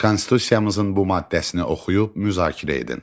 Konstitusiyamızın bu maddəsini oxuyub müzakirə edin.